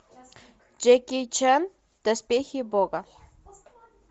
джеки чан доспехи бога